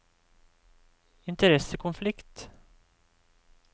interessekonflikt